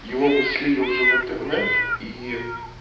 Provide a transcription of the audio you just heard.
ева были уже в интернет и